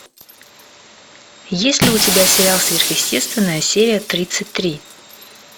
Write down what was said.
есть ли у тебя сериал сверхъестественное серия тридцать три